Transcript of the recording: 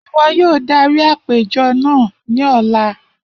Iwọ yoo darí apejọ naa ni ọla!